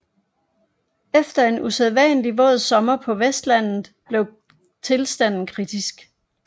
Efter en usædvanlig våd sommer på Vestlandet blev tilstanden kritisk